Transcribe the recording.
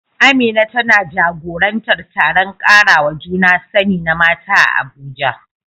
Amina tana jagorantar taron karawa juna sani na mata a Abuja.